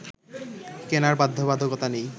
কেনার বাধ্যবাধকতা নেই